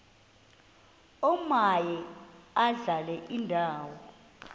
omaye adlale indawo